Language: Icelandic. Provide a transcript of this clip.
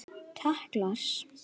Takk Lars.